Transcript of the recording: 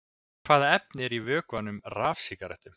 Hvaða efni eru í vökvanum í rafsígarettum?